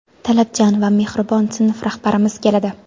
talabchan va mehribon sinf rahbarimiz keladi.